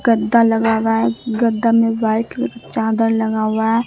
गद्दा लगा हुआ है गद्दा में वाइट का चादर लगा हुआ है।